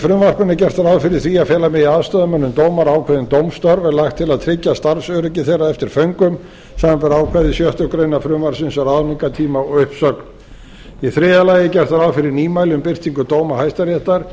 frumvarpinu er gert ráð fyrir því að fela megi aðstoðarmönnum dómara ákveðin dómstörf er lagt til að tryggja starfsöryggi þeirra eftir föngum samanber ákvæði sjöttu greinar frumvarpsins um ráðningartíma og uppsögn í þriðja lagi er gert ráð fyrir nýmæli um birtingu dóma hæstaréttar